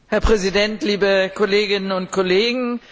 Herr Präsident, liebe Kolleginnen und Kollegen!